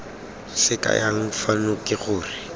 se kayang fano ke gore